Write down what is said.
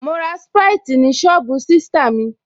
Mo ra sprite ni sọ́ọ̀bù sista mi